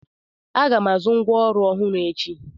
Aga m azụ ngwa ọrụ ọhụrụ echi.